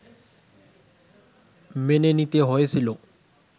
মেনে নিতে হয়েছিল